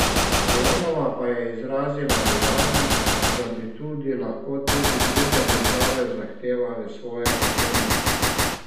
Fajonova pa je izrazila bojazen, da bi tudi lahko tudi druge države zahtevale svoje posebnosti.